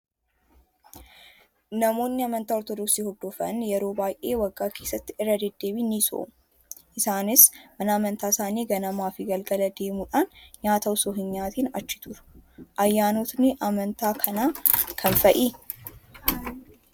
Namoonni amantaa orthodoksii hordofan yeroo baay'ee waggaa keessatti irra deddeebiin ni soomu. Isaanis mana amantaa isaanii ganamaa fi galgala deemuudhaan nyaata osoo hin nyaatiin achi turu. Ayyaanotni amantaa kanaa kam fa'ii?